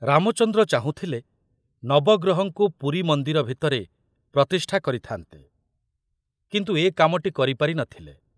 ରାମଚନ୍ଦ୍ର ଚାହୁଁଥିଲେ ନବଗ୍ରହଙ୍କୁ ପୁରୀ ମନ୍ଦିର ଭିତରେ ପ୍ରତିଷ୍ଠା କରିଥାନ୍ତେ, କିନ୍ତୁ ଏ କାମଟି କରିପାରି ନ ଥିଲେ।